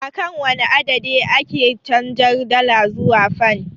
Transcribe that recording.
Akan wane adadi ake canjar dala zuwa fan?